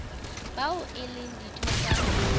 bao e leng ditho tsa